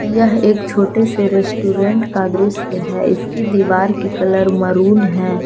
यह एक छोटे से रेस्टोरेंट का दृश्य है इसकी दीवार की कलर मैरून है।